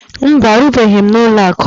Mba, arụbughi m n'ụlọakụ a